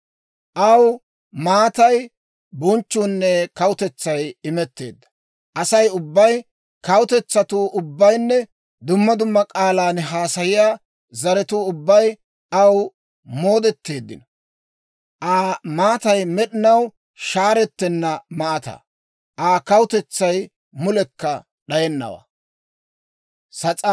Aw maatay, bonchchuunne kawutetsay imetteedda. Asay ubbay, kawutetsatuu ubbaynne dumma dumma k'aalan haasayiyaa zaratuu ubbay aw moodeteeddino. Aa maatay med'inaw shaarettenna maataa; Aa kawutetsay mulekka d'ayennawaa.